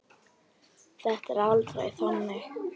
Það er aldrei þannig.